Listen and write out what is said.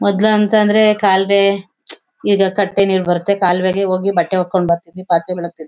ಮೊದ್ಲು ಅಂತಂದ್ರೆ ಕಾಲ್ವೇ ಈಗ ಕಟ್ಟೆ ನೀರ್ ಬರತ್ತೆ ಕಾಲ್ವೇಗೆ ಹೋಗಿ ಬಟ್ಟೆ ವೊಕ್ಕೊಂಡ್ ಬರ್ತಿದ್ವಿ ಪಾತ್ರೆ ಬೆಳಗ್ತಿದ್ವಿ.